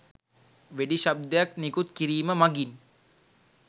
වෙඩි ශබ්දයක් නිකුත් කිරීම මගිනි.